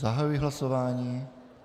Zahajuji hlasování.